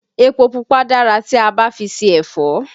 Èpò pupa dára tí a bá fi ṣe ẹ̀fọ́